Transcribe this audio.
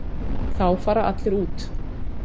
Þá fara allir út.